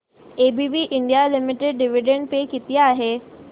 ABB India limited dividend pay किती आहे